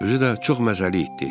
Özü də çox məzəli itdi.